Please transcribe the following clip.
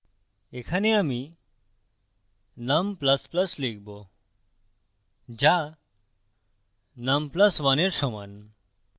এখানে আমি num ++ লিখবো যা num + 1 এর সমান